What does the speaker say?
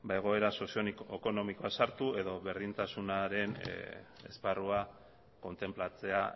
egoera sozioekonomikoa sartu edo berdintasunaren esparrua kontenplatzea